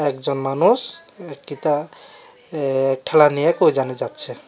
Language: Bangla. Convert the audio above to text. একজন মানুষ ঠেলা নিয়ে কই যেন যাচ্ছে।